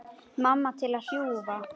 Mamma til að hjúfra.